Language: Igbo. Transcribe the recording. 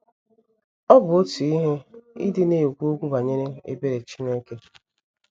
Ọ bụ otu ihe ịdị na - ekwu okwu banyere ebere Chineke.